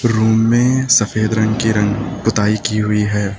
Room में सफेद रंग के रंग पोताई की हुई है।